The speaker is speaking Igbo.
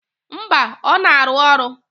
Mba, ọ na-arụ ọrụ.